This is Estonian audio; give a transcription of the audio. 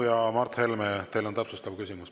Mart Helme, teil on täpsustav küsimus.